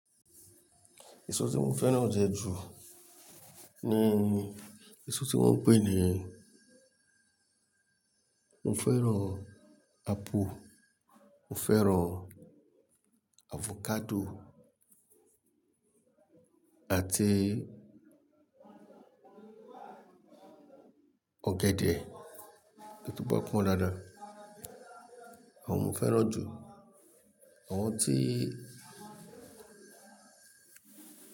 Èso tí mo fẹ́ràn jẹ ju, ní èso tí wọ́n ń pè ni mo fẹ́ràn apple, mo fẹ́ràn avocado àti ọ̀gẹ̀dẹ̀. Èyí tó bá pọ́n dáadáa, àwọn òún fẹ́ràn jù, àwọn tí.